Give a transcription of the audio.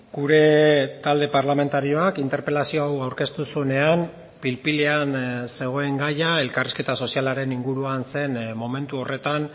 gure talde parlamentarioak interpelazio hau aurkeztu zuenean pil pilean zegoen gaia elkarrizketa sozialaren inguruan zen momentu horretan